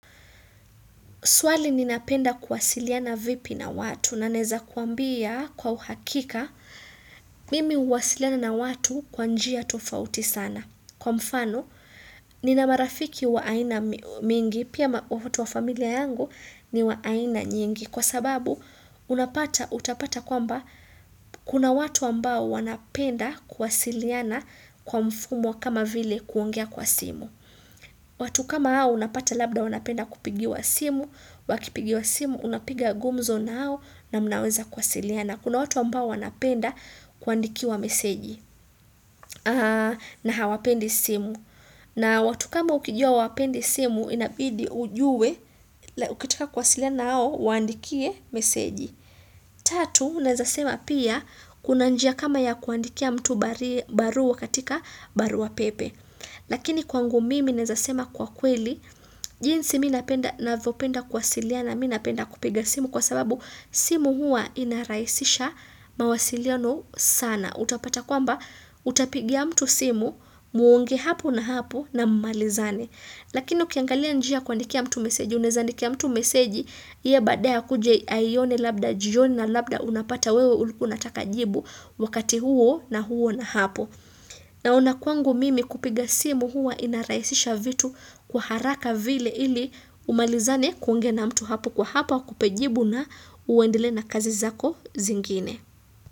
Swali ninapenda kuwasiliana vipi na watu nanaweza kuambia kwa uhakika mimi huwasiliana na watu kwa njia tofauti sana. Kwa mfano, ninamarafiki wa aina mingi, pia watu wa familia yangu ni wa aina nyingi. Kwa sababu, unapata, utapata kwamba kuna watu ambao wanapenda kuwasiliana kwa mfumo kama vile kuongea kwa simu. Watu kama hao unapata labda wanapenda kupigiwa simu, wakipigiwa simu unapiga gumzo nao na mnaweza kwasilia na kuna watu ambao wanapenda kuandikiwa meseji na hawapendi simu na watu kama ukijua hawapendi simu inabidi ujue ukitika kwasilia nao uwaandikie meseji. Tatu, unawezasema pia kuna njia kama ya kuandikia mtu barua katika barua pepe. Lakini kwangu mimi nawezasema kwa kweli, jinsi mimi napenda navyopenda kuwasiliana mimi napenda kupiga simu kwa sababu simu hua inarahisisha mawasiliano sana. Na utapata kwamba, utapigia mtu simu, muongee hapo na hapo na mmalizane. Lakini ukiangalia njia kuandikia mtu meseji, unawezandikia mtu meseji, yeye badaya akuje aione labda jioni na labda unapata wewe ulikuwa unataka jibu wakati huo na huo na hapo. Naona kwangu mimi kupiga simu huwa inarahisisha vitu kwa haraka vile ili umalizane kuongea na mtu hapo kwa hapo akupe jibu na uendelee na kazi zako zingine.